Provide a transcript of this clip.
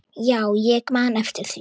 Já, ég man eftir því.